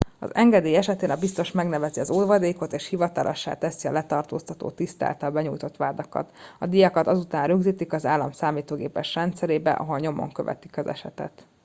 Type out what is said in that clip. engedély esetén a biztos megnevezi az óvadékot és hivatalossá teszi a letartóztató tiszt által benyújtott vádakat a díjakat azután rögzítetik az állam számítógépes rendszerébe ahol nyomon követik az esetet